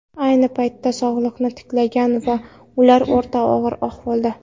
Ayni paytda sog‘ligi tiklangan va ular o‘rta og‘ir ahvolda.